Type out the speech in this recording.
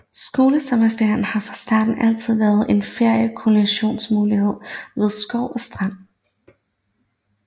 Skolesommerferierne har fra starten altid været en feriekolonimulighed ved skov og strand